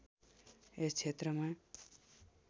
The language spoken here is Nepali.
यस क्षेत्रमा